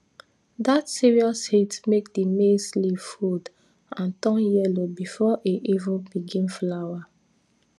dat serious heat make the maize leaf fold and turn yellow before e even begin flower